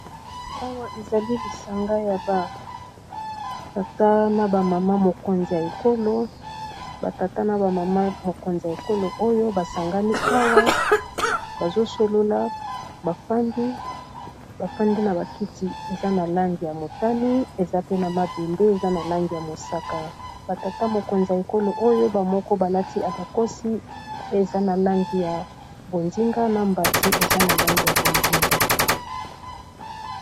Awa ezali lisanga ya ba tata na ba mama mokonzi ya ekolo, ba tata na ba mama mokonzi ya ekolo oyo basangani awa bazo solola ba fandi ba fandi na ba kiti eza na langi ya motani eza pe na mabende eza na langi ya mosaka ba tata mokonzi ya ekolo oyo ba moko balati abakosi eza na langi ya bonzinga na mbati eza na langi ya bonzinga.